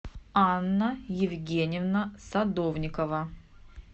анна евгеньевна садовникова